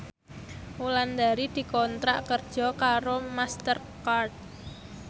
Wulandari dikontrak kerja karo Master Card